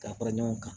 Ka fara ɲɔgɔn kan